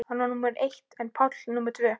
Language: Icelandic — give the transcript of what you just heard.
Hann var númer eitt en Páll númer tvö.